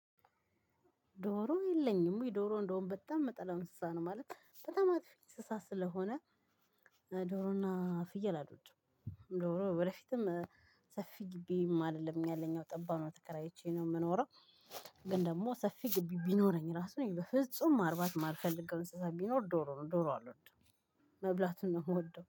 ዶሮ የለኝም ወይ ዶሮ እንደውም በጣም ምጠላው እንስሳ ነው ማለት በጣም አጥፊ እንስሳ ስለሆነ። ዶሮና ፍየል አሎድም ዶሮ ወደፊትም ሰፊ ግቢም አደለም ያለኝ ጠባብ ነው ተከራይቼ ነው ምኖረው። ግን ደግሞ ሰፊ ግቢ ቢኖረኝ ራሱ በፍጹም ማርባት ማልፈልገው እንስሳ ቢኖር ዶሮ ነው ዶሮ አልወድም። መብላቱን ነው ምወደው